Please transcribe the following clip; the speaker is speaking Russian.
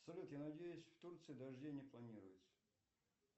салют я надеюсь в турции дождей не плпниуется